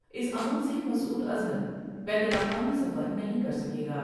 اس عمل سے مسعوداظہر بین الاقوامی سفر نہیں کر سکے گا ۔